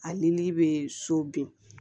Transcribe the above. A nili bɛ so bin